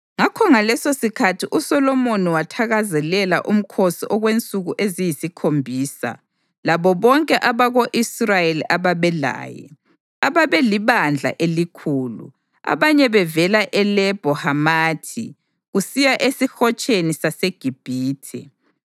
Ngakho ngalesosikhathi uSolomoni wathakazelela umkhosi okwensuku eziyisikhombisa, labo bonke abako-Israyeli ababelaye, ababelibandla elikhulu, abanye bevela eLebho Hamathi kusiya eSihotsheni saseGibhithe.